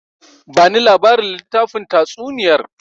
Bani labarin littafin tatsuniyar!